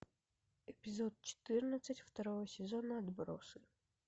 эпизод четырнадцать второго сезона отбросы